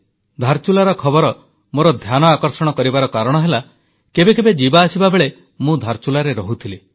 ଧାରଚୁଲାର ଖବର ମୋର ଧ୍ୟାନ ଆକର୍ଷଣ କରିବାର କାରଣ ହେଲା କେବେ କେବେ ଯିବା ଆସିବା ବେଳେ ମୁଁ ଧାରଚୁଲାରେ ରହୁଥିଲି